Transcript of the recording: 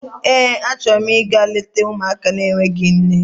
Eé, achọrọ m ịga leta ụmụaka n'enweghị nne.